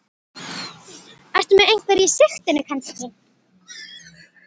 Ertu með einhverja í sigtinu kannski?